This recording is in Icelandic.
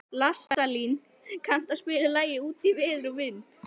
Listalín, kanntu að spila lagið „Út í veður og vind“?